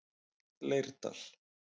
Leirdal